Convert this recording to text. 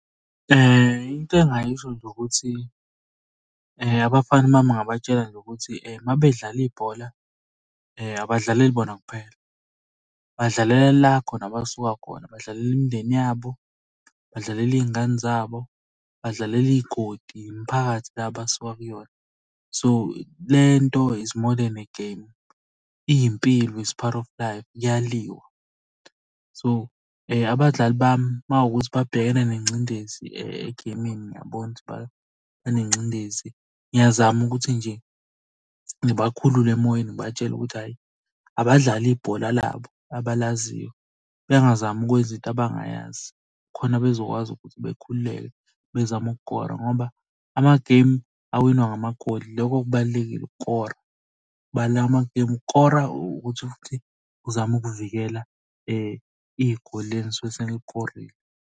Into engingayisho nje ukuthi abafana uma ningabatshela nje ukuthi uma bedlala ibhola, abadlaleli bona kuphela, badlalela la khona abasuka khona. Badlalele imindeni yabo, badlalele iy'ngane zabo, badlalele iy'godi, imiphakathi la abasuka kuyona. So, le nto is more den a game, iy'mpilo its part of life kuyaliwa. So, abadlali bami uma kuwukuthi babhekene nengcindezi egeyimini ngiyabona ukuthi banengcindezi, ngiyazama ukuthi nje ngibakhulule emoyeni, ngibatshele ukuthi hhayi abadlale ibhola labo abalaziyo. Bengazami ukwenza into abangayazi khona bezokwazi ukuthi bekhululeke bezame ukukora ngoba amagemu awinwa ngamagoli ilokho okubalulekile ukukora. amagemu ukukora ukuthi futhi uzame ukuvikela igoli leli enisuke senilikorile.